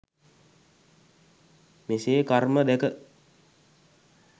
මෙසේ කර්ම දැක